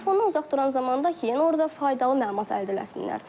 Telefonda uzaq duran zaman da ki, yəni orda faydalı məlumat əldə eləsinlər.